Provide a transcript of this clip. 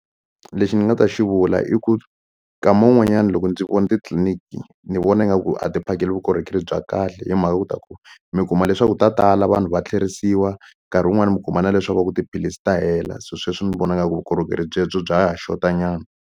Lexi ni nga ta xivula i ku nkama wun'wanyani loko ndzi vona titliniki ni vona nga ku a ti phakeli vukorhokeri bya kahle hi mhaka ku ta ku mi kuma leswaku ta tala vanhu va tlherisiwa nkarhi wun'wani mi kuma na leswaku va ku tiphilisi ta hela so sweswi ni vona ngaku vukorhokeri byebyo bya ha xota nyana.